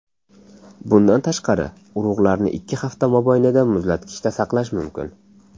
Bundan tashqari, urug‘larni ikki hafta mobaynida muzlatkichda saqlash mumkin.